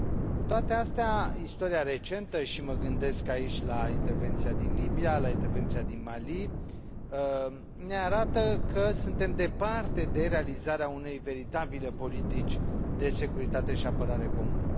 Cu toate acestea, istoria recentă, și mă gândesc aici la intervenția din Libia, la intervenția din Mali, ne arată că suntem departe de realizarea unei veritabile politici de securitate și apărare comune.